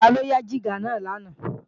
Taló yá jígà náà lánàá